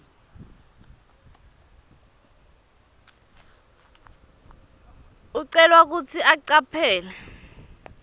ucelwa kutsi ucaphele